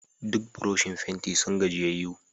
Duk buroshin fenti sun gajiyayyu.